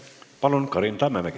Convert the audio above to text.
Palun, Karin Tammemägi!